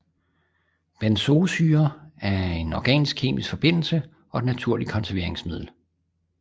Benzoesyre er en organisk kemisk forbindelse og et naturligt konserveringsmiddel